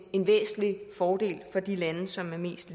en væsentlig fordel for de lande som har mest